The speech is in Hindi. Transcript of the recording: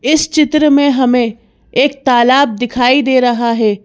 इस चित्र में हमें एक तालाब दिखाई दे रहा है।